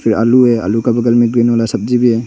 आलू है आलू का बगल में ग्रीन वाला सब्जी भी है।